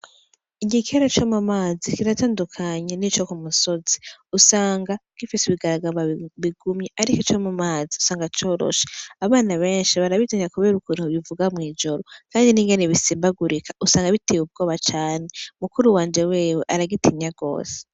Igikere co mu mazi kiratandukanye nico k'umusozi, usanga gifise ibigaragamba bigumye ariko ico mu mazi usanga coroshe abana benshi barabitinya kubera ukuntu bivuga mw'ijoro kandi n' ingene bisimbagurika usanga biteye ubwoba cane mukuru wanje wewe aragitinya gose.